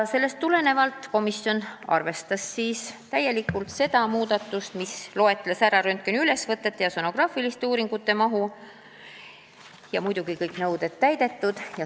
Sellest tulenevalt komisjon arvestas täielikult seda muudatust, milles mainitakse röntgeniülesvõtete ja sonograafiliste uuringute mahtu ja muidugi seda, et kõik nõuded peavad olema täidetud.